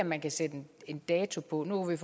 at man kan sætte en dato på nu kan